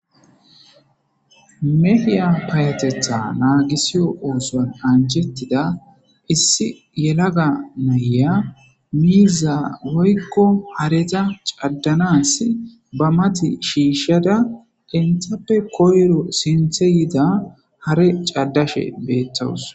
Mehiya payatetha naagisiyo oosoan ancettida issi yelaga naya miiza woykko hareta caddanas ba mati shiishshada dentappe koyro sinthe yida hare caddashe beettawus.